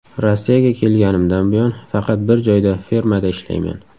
Rossiyaga kelganimdan buyon faqat bir joyda fermada ishlayman.